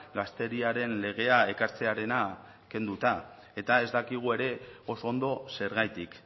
gazteriaren legea ekartzearena kenduta eta ez dakigu ere oso ondo zergatik